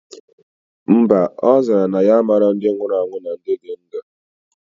Mba, ozara na ya amalo ndi nwurue na ndi di ndu